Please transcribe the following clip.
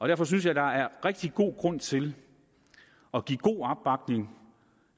derfor synes jeg der er rigtig god grund til at give god opbakning